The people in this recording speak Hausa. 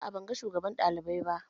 A'a ban ga shugaban ɗalibai ba